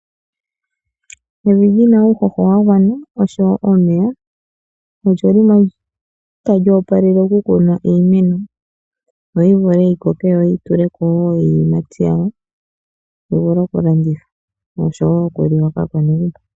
Evi lina uuhoho wa gwana oshowo omeya, olyo limwe tali opalele okukunwa iimeno, opo yivule yikoke yo yituleko iiyimati, yivule okulandithwa, noshowo okuliwa kaakwanegumbo.